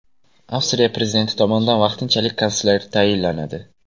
Avstriya prezidenti tomonidan vaqtinchalik kansler tayinlanadi.